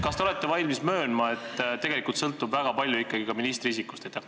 Kas te olete valmis möönma, et tegelikult sõltub väga palju ikkagi ministri isikust?